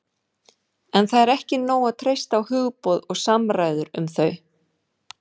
En það er ekki nóg að treysta á hugboð og samræður um þau.